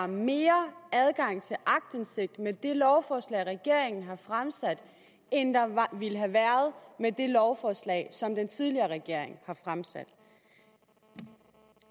mere adgang til aktindsigt med det lovforslag regeringen har fremsat end der ville have været med det lovforslag som den tidligere regering fremsatte